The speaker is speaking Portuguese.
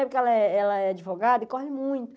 Porque ela é ela é advogada e corre